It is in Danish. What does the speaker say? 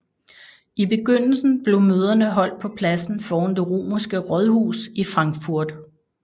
I begyndelsen blev møderne holdt på pladsen foran det romerske rådhus i Frankfurt